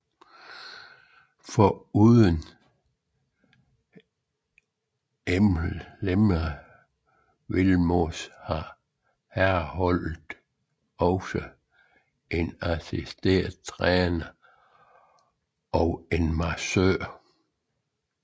Foruden Imre Vilmos har herreholdet også en assistenttræner og en massør